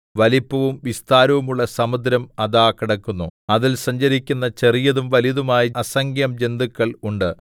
വലിപ്പവും വിസ്താരവും ഉള്ള സമുദ്രം അതാ കിടക്കുന്നു അതിൽ സഞ്ചരിക്കുന്ന ചെറിയതും വലിയതുമായ അസംഖ്യജന്തുക്കൾ ഉണ്ട്